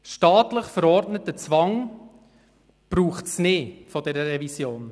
Staatlich verordneten Zwang, wie ihn diese Revision will, braucht es nicht.